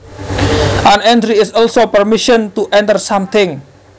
An entry is also permission to enter something